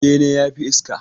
Bene yafi iska